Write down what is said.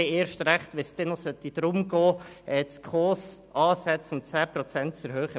Dies erst recht, wenn es darum gehen sollte, die SKOS-Ansätze um 10 Prozent zu erhöhen.